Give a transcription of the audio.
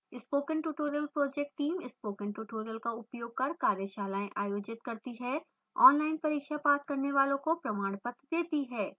spoken tutorial project teamspoken tutorial का उपयोग कर कार्यशालाएं आयोजित करती है ऑनलाइन परीक्षा पास करने वालों को प्रमाण पत्र देती है